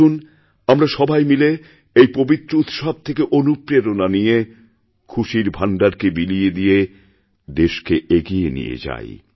আসুন আমরা সবাই মিলে এইপবিত্র উৎসব থেকে অনুপ্রেরণা নিয়ে খুশির ভাণ্ডারকে বিলিয়ে দিয়ে দেশকে এগিয়ে নিয়েযাই